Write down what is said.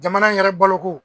Jamana in yɛrɛ bolo ko.